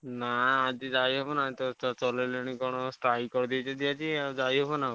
ନାଁ ଆଜି ଯାଇହବନି ଆଜି ତ ସେ ଚଳେଇଲେଣି କଣ strike କରିଦେଇଛନ୍ତି ଆଜି ଆଉଯାଇ ହବ ନାଁ?